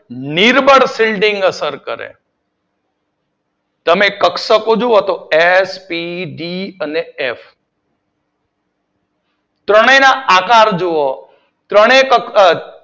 નિર્બળ shielding અસર કરે તમે કક્ષકો જોવો તો એસ, પી, ડી અને એફ. ત્રણેય ના આકાર જોવો ત્રણેય